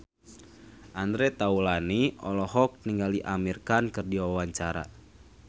Andre Taulany olohok ningali Amir Khan keur diwawancara